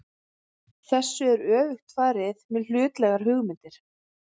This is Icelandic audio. Þessu er öfugt farið með hlutlægar hugmyndir.